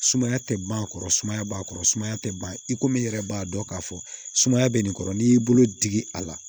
Sumaya tɛ ban a kɔrɔ sumaya b'a kɔrɔ sumaya tɛ ban i komi i yɛrɛ b'a dɔn k'a fɔ sumaya bɛ nin kɔrɔ n'i y'i bolo digi a la